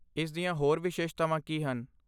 ਇਸ ਦੀਆਂ ਹੋਰ ਵਿਸ਼ੇਸ਼ਤਾਵਾਂ ਕੀ ਹਨ?